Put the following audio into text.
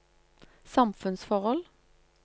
samfunnsforhold